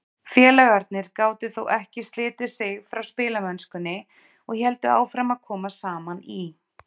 Félagarnir gátu þó ekki slitið sig frá spilamennskunni og héldu áfram að koma saman í